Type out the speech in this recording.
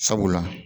Sabula